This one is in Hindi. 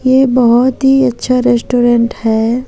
ये बहोत ही अच्छा रेस्टोरेंट है।